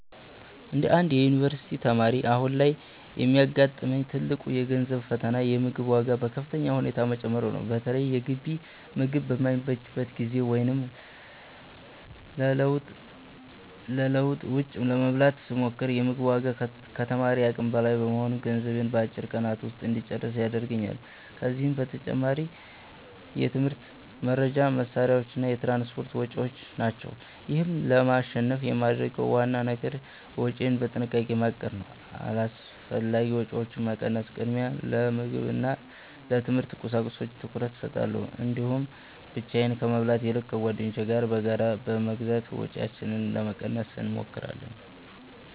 እንደ አንድ የዩኒቨርሲቲ ተማሪ፣ አሁን ላይ የሚያጋጥመኝ ትልቁ የገንዘብ ፈተና የምግብ ዋጋ በከፍተኛ ሁኔታ መጨመሩ ነው። በተለይ የግቢ ምግብ በማይመችበት ጊዜ ወይም ለለውጥ ውጭ ለመብላት ስሞክር፤ የ ምግቡ ዋጋ ከተማሪ አቅም በላይ በመሆኑ ገንዘቤን በአጭር ቀናት ውስጥ እንጨርስ ያደርገኛል። ከዚህም በተጨማሪ የትምህርት መርጃ መሣሪያዎችና የትራንስፖርት ወጪዎች ናቸው። ይህን ለማሸነፍ የማደርገው ዋናው ነገር ወጪዬን በጥንቃቄ ማቀድ ነው። አላስፈላጊ ወጪዎችን በመቀነስ፣ ቅድሚያ ለምግብና ለትምህርት ቁሳቁሶች ትኩረት እሰጣለሁ። እንዲሁም ብቻዬን ከመብላት ይልቅ ከጓደኞቼ ጋር በጋራ በመግዛት ወጪያችንን ለመቀነስ እንሞክራለን።